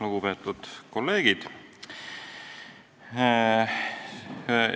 Lugupeetud kolleegid!